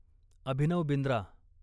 Abhinav Bindra